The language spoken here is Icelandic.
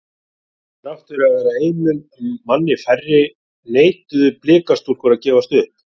Þrátt fyrir að vera einum manni færri neituðu blika stúlkur að gefast upp.